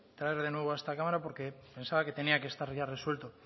traer de nuevo a esta cámara porque pensaba que tenía que estar ya resuelto